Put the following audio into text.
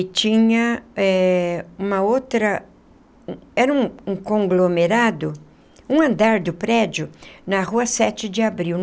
E tinha eh uma outra um... Era um um conglomerado, um andar do prédio, na Rua Sete de Abril.